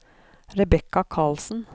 Rebekka Karlsen